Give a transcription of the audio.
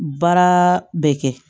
Baara bɛ kɛ